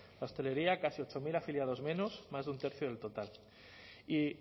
la hostelería casi ocho mil afiliados menos más de un tercio del total y